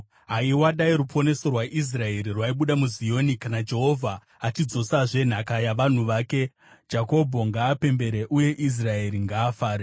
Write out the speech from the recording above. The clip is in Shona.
Haiwa, dai ruponeso rwaIsraeri rwaibuda muZioni! Kana Jehovha achidzosazve nhaka yavanhu vake, Jakobho ngaapembere uye Israeri ngaafare.